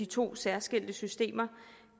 to særskilte systemer